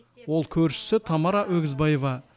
ол көршісі тамара өгізбаева